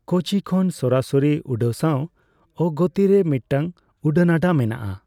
ᱠᱳᱪᱤ ᱠᱷᱚᱱ ᱥᱚᱨᱟᱥᱚᱨᱤ ᱩᱰᱟᱹᱜ ᱥᱟᱣ ᱟᱜᱚᱛᱛᱤ ᱨᱮ ᱢᱤᱫᱴᱟᱝ ᱩᱰᱟᱹᱱᱟᱰᱟ ᱢᱮᱱᱟᱜᱼᱟ ᱾